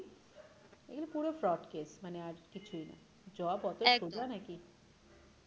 এগুলো পুরো frowd case মানে আর কিছুই নই job একদম অতোই সোজা না কি?